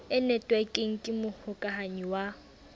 e netwekeng ke mohokahanyi wa